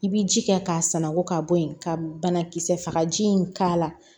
I bi ji kɛ k'a sanangon ka bɔ yen ka banakisɛ fagaji in k'a la